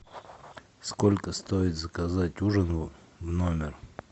сколько стоит заказать ужин в номер